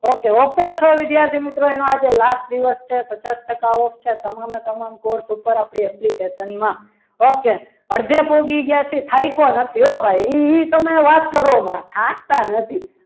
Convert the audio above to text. okay offer છે વિદ્યાર્થી મિત્રો એનો આજે last દિવસ છે પચાસ ટકા ઓફ છે. તમામે તમામ course ઉપર આપણી application માં okay અડધે પહોંચી ગયા છે. થાયકો નથી હો ભાઈ તમે વાત કરો માં થાકતા નથી.